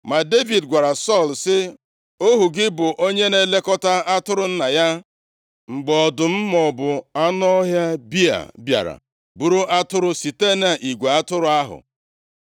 Ma Devid gwara Sọl sị, “Ohu gị bụ onye na-elekọta atụrụ nna ya. Mgbe ọdụm maọbụ anụ ọhịa bịa bịara buru atụrụ site nʼigwe atụrụ ahụ,